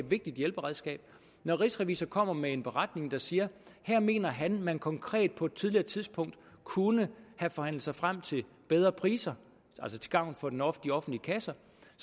vigtigt hjælperedskab når rigsrevisor kommer med en beretning der siger at her mener han at man konkret på et tidligere tidspunkt kunne have forhandlet sig frem til bedre priser til gavn for de offentlige offentlige kasser